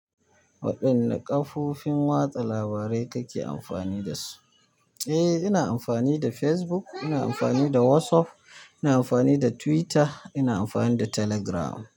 Waɗanna kafofin watsa labarai kake amfani da su? Eh, ina amfani da Facebook, ina amfani da WhatsApp, ina amfani da Twitter, ina amfani da Telegram.